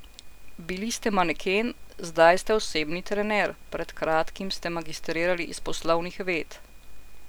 Bili ste maneken, zdaj ste osebni trener, pred kratkim ste magistrirali iz poslovnih ved.